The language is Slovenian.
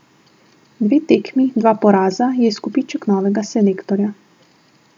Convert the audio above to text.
Dve tekmi, dva poraza je izkupiček novega selektorja.